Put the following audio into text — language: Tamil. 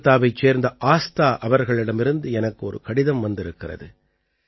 கோல்காத்தாவைச் சேர்ந்த ஆஸ்தா அவர்களிடமிருந்து எனக்கு ஒரு கடிதம் வந்திருக்கிறது